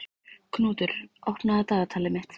Knútur, opnaðu dagatalið mitt.